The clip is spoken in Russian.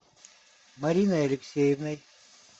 мариной алексеевной